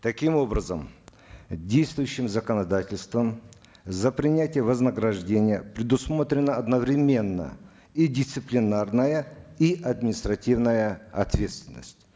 таким образом действующим законодательством за принятие вознаграждения предусмотрена одновременно и дисциплинарная и административная ответственность